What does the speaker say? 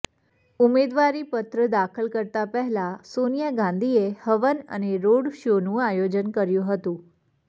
ઉમેદવારીપત્ર દાખલ કરતા પહેલા સોનિયા ગાંધીએ હવન અને રોડશોનું આયોજન કર્યું હતું